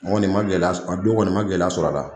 ma gɛlɛya a don kɔni ma gɛlɛya sɔrɔ a la